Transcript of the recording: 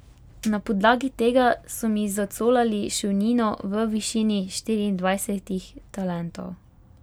Na podlagi tega so mi zacolali šolnino v višini štiriindvajsetih talentov.